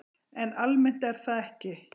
En almennt er það ekki.